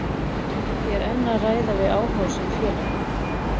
Ég er enn að ræða við áhugasöm félög.